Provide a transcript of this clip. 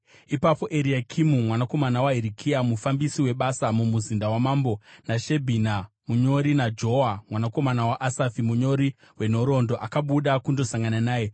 ipapo Eriakimu mwanakomana waHirikia, mufambisi webasa mumuzinda wamambo, naShebhina munyori, naJoa mwanakomana waAsafi munyori wenhoroondo, akabuda kundosangana naye.